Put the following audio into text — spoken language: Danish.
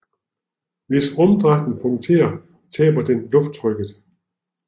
Hvis rumdragten punkterer taber den lufttrykket